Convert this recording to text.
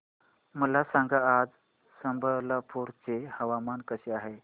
मला सांगा आज संबलपुर चे हवामान कसे आहे